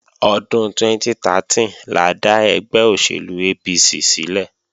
Ọdún 2013 la dá ẹgbẹ́ òṣèlú APC sílẹ̀